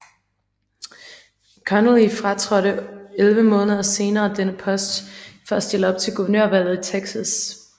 Connally fratrådte 11 måneder senere denne post for at stille op til guvernørvalget i Texas